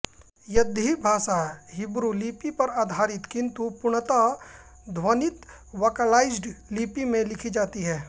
यिद्दी भाषा हिब्रू लिपि पर आधारित किन्तु पूर्णतः ध्वनित वोकलाइज्ड लिपि में लिखी जाती है